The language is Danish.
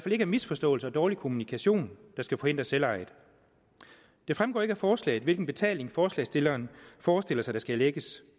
ikke er misforståelser og dårlig kommunikation der skal forhindre selvejet det fremgår ikke af forslaget hvilken betaling forslagsstilleren forestiller sig der skal erlægges